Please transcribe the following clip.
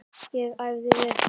Ég æfði vel.